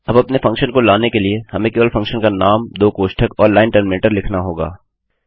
अब अपने फंक्शन को लाने के लिए हमें केवल फंक्शन का नाम 2 कोष्ठक और लाइन टर्मिनेटर लिखना होगा